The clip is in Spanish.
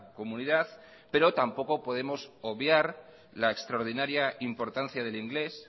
comunidad pero tampoco podemos obviar la extraordinaria importancia del inglés